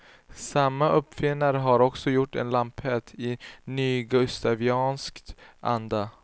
Samma uppfinnare har också gjort en lampett i nygustaviansk anda.